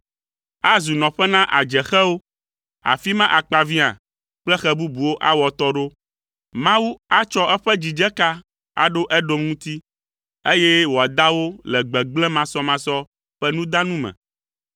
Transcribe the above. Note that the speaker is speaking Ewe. Azu nɔƒe na adzexewo. Afi ma akpaviã kple xe bubuwo awɔ atɔ ɖo. Mawu atsɔ eƒe dzidzeka aɖo Edom ŋuti, eye wòada wo le gbegblẽ masɔmasɔ ƒe nudanu me.